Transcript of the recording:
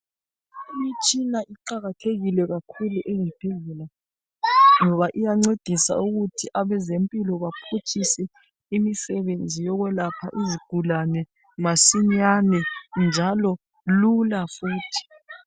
Imitshina iqakathekile kakhulu ezibhedlela ngoba iyancedisa ukuthi abezempilo baphutshise imisebenzi yokwelapha izigulane masinyane njalo lula futhi.